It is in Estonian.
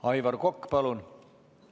Aivar Kokk, palun!